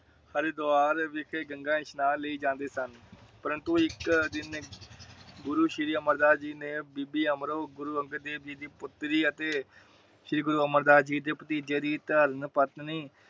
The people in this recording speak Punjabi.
ਹਰਿਦਵਾਰ ਵਿਖੇ ਗੰਗਾ ਸਨਾਨ ਲਈ ਜਾਂਦੇ ਸਨ। ਪਰੰਤੂ ਇਕ ਦਿਨ ਗੁਰੂ ਸ਼੍ਰੀ ਅਮਰ ਦਾਸ ਜੀ ਨੇ ਬੀਬੀ ਅਮਰੋ ਗੁਰੂ ਅੰਗਦ ਦੇਵ ਜੀ ਦੀ ਪੁਤਰੀ ਅਤੇ ਸ਼੍ਰੀ ਗੁਰੂ ਅਮਰਦਾਸ ਜੀ ਦੇ ਭਤੀਜੇ ਦੀ ਧਰਮ ਪਤਨੀ